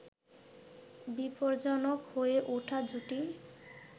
বিপজ্জনক হয়ে উঠা জুটি